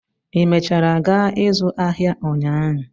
ị mechara gaa ịzụ ahịa ụnyaahụ?